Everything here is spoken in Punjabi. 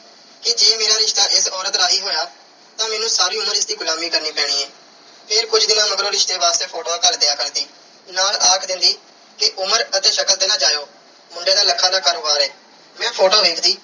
ਕਿ ਜੇ ਮੇਰਾ ਰਿਸ਼ਤਾ ਇਸ ਔਰਤ ਰਾਹੀਂ ਹੋਇਆ ਤਾਂ ਮੈਨੂੰ ਸਾਰੀ ਉਮਰ ਇਸ ਦੀ ਗੁਲਾਮੀ ਕਰਨੀ ਪੈਣੀ ਐ। ਫਿਰ ਕੁਝ ਦਿਨਾਂ ਮਗਰੋਂ ਰਿਸ਼ਤੇ ਵਾਸਤੇ photos ਘੱਲ ਦਿਆ ਕਰਦੀ। ਨਾਲ ਆਖ ਦਿੰਦੀ ਕਿ ਉਮਰ ਅਤੇ ਸ਼ਕਲ ਤੇ ਨਾ ਜਾਇਓ। ਮੁੰਡੇ ਦਾ lakhs ਦਾ ਕਾਰੋਬਾਰ ਐ। ਮੈਂ photo ਵੇਖਦੀ